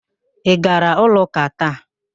Ị gara ụlọ ụ́kà taa?